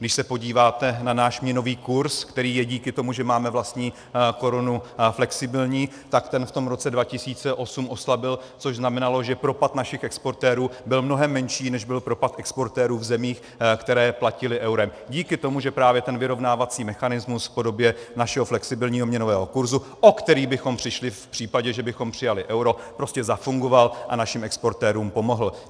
Když se podíváte na náš měnový kurz, který je díky tomu, že máme vlastní korunu, flexibilní, tak ten v tom roce 2008 oslabil, což znamenalo, že propad našich exportérů byl mnohem menší, než byl propad exportérů v zemích, které platily eurem, díky tomu, že právě ten vyrovnávací mechanismus v podobě našeho flexibilního měnového kurzu, o který bychom přišli v případě, že bychom přijali euro, prostě zafungoval a našim exportérům pomohl.